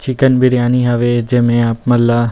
chicken biryani हवे जेमे आप मन ल --